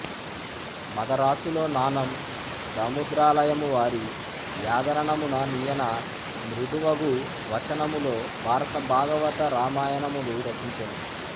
మదరాసులో నానందముద్రాలయమువారి యాదరణమున నీయన మృదువగువచనములో భారత భాగవత రామాయణములు రచించెను